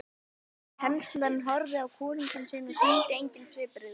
Kanslarinn horfði á konung sinn og sýndi engin svipbrigði.